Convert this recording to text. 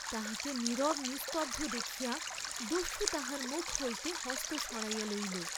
তাহাকে নীরব নিস্তব্ধ দেখিয়া দস্যু তাহার মুখ হইতে হস্ত সরাইয়া লইল।